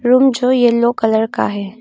Room जो yellow colour का है।